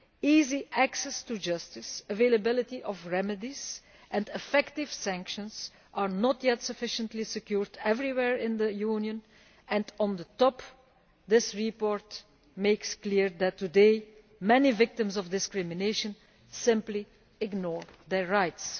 Easy access to justice, availability of remedies and effective sanctions are not yet sufficiently secured everywhere in the Union and, on top of this, the report makes clear that today many victims of discrimination simply ignore their rights.